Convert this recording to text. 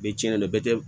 Bɛɛ bɛ cɛn dɛ bɛɛ tɛ